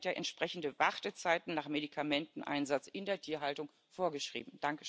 Deshalb sind ja entsprechende Wartezeiten nach Medikamenteneinsatz in der Tierhaltung vorgeschrieben.